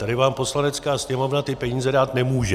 Tady vám Poslanecká sněmovna ty peníze dát nemůže.